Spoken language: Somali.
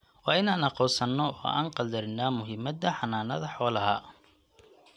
waa in aan aqoonsanno oo aan qadarinnaa muhiimadda xanaanada xoolaha.